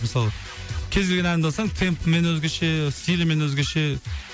мысалы кез келген әнімді алсаң темпімен өзгеше стилімен өзгеше